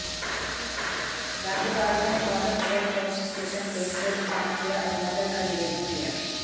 राज्यपाल ने फौरन एयरफोर्स स्टेशन तेजपुर फोन किया और मदद का निवेदन किया